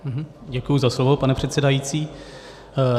Děkuji za slovo, pane předsedající.